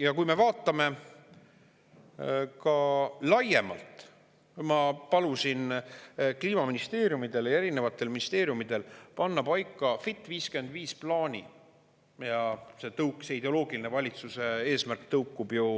Ja kui me vaatame ka laiemalt, ma palusin Kliimaministeeriumil ja erinevatel ministeeriumidel panna paika "Fit 55" plaani – ideoloogiline valitsuse eesmärk tõukub ju